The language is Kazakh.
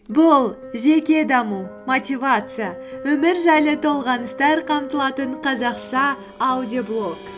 бұл жеке даму мотивация өмір жайлы толғаныстар қамтылатын қазақша аудиоблог